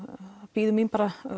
bíður mín